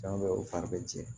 Fɛn bɛ u fari bɛ jɛ